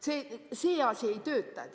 See asi ei tööta.